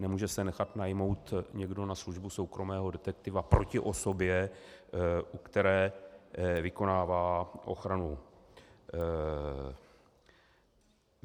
Nemůže se nechat najmout někdo na službu soukromého detektiva proti osobě, u které vykonává ochranu.